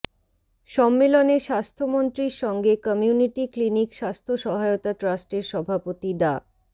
সম্মেলনে স্বাস্থ্যমন্ত্রীর সঙ্গে কমিউনিটি ক্লিনিক স্বাস্থ্য সহায়তা ট্রাস্টের সভাপতি ডা